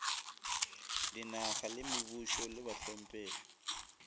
dinaga le mebušo le bahlomphegi